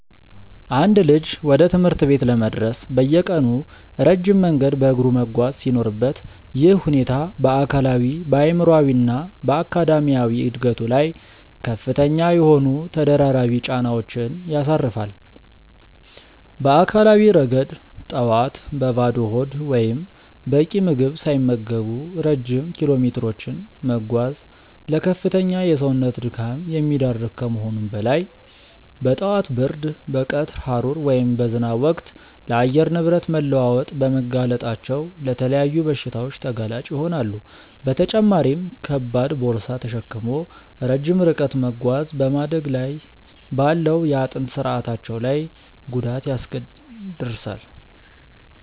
አንድ ልጅ ወደ ትምህርት ቤት ለመድረስ በየቀኑ ረጅም መንገድ በእግሩ መጓዝ ሲኖርበት፣ ይህ ሁኔታ በአካላዊ፣ በአእምሯዊ እና በአካዳሚያዊ ዕድገቱ ላይ ከፍተኛ የሆኑ ተደራራቢ ጫናዎችን ያሳርፋል። በአካላዊ ረገድ፣ ጠዋት በባዶ ሆድ ወይም በቂ ምግብ ሳይመገቡ ረጅም ኪሎሜትሮችን መጓዝ ለከፍተኛ የሰውነት ድካም የሚዳርግ ከመሆኑም በላይ፣ በጠዋት ብርድ፣ በቀትር ሐሩር ወይም በዝናብ ወቅት ለአየር ንብረት መለዋወጥ በመጋለጣቸው ለተለያዩ በሽታዎች ተጋላጭ ይሆናሉ፤ በተጨማሪም ከባድ ቦርሳ ተሸክሞ ረጅም ርቀት መጓዝ በማደግ ላይ ባለው የአጥንት ስርአታቸው ላይ ጉዳት ያደርሳል።